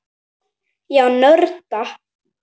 Já, nörda.